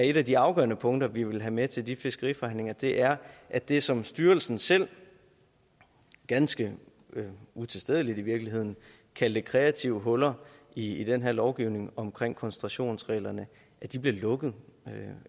et af de afgørende punkter vi vil tage med til de fiskeriforhandlinger er at det som styrelsen selv ganske utilstedeligt i virkeligheden kaldte kreative huller i den her lovgivning om koncentrationsreglerne bliver lukket